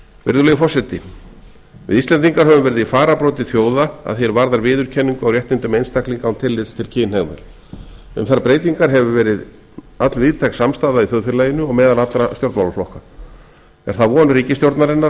virðulegi forseti við íslendingar höfum verið í fararbroddi þjóða að því er varðar viðurkenningu á réttindum einstaklinga án tillits til kynhneigðar um þær breytingar hefur verið allvíðtæk samstaða í þjóðfélaginu og meðal allra stjórnmálaflokka er það von ríkisstjórnarinnar að